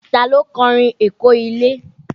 Ta ló kọ orin Èkó ilé?